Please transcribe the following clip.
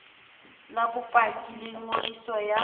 la bopaki la ngodiso ya